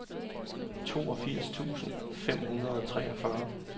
toogfirs tusind fem hundrede og treogfyrre